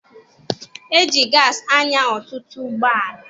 E ji gaasị anya ọtụtụ ụgbọala.